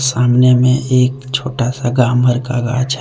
सामने में एक छोटा सा गामर का गाछा--